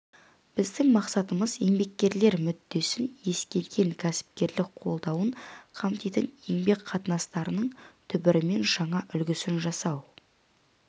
біздің мақсатымыз еңбеккерлер мүддесін ескерген кәсіпкерлік қолдауын қамтитын еңбек қатынастарының түбірімен жаңа үлгісін жасау